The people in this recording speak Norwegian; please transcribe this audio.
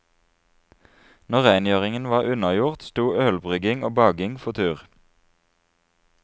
Når rengjøringen var unnagjort, stod ølbrygging og baking for tur.